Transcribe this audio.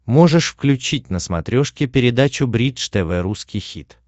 можешь включить на смотрешке передачу бридж тв русский хит